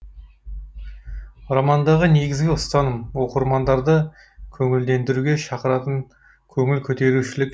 романдағы негізгі ұстаным оқырмандарды көңілдендіруге шақыратын көңіл көтерушілік